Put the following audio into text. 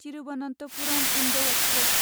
Thiruvananthapuram Indore express